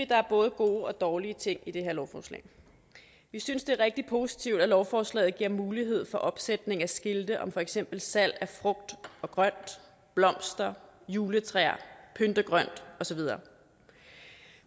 der er både gode og dårlige ting i det her lovforslag vi synes det er rigtig positivt at lovforslaget giver mulighed for opsætning af skilte om for eksempel salg af frugt og grønt blomster juletræer pyntegrønt og så videre